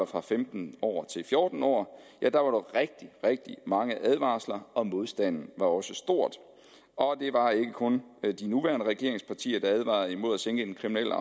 fra femten år til fjorten år var der rigtig rigtig mange advarsler og modstanden var også stor og det var ikke kun de nuværende regeringspartier der advarede imod at sænke den kriminelle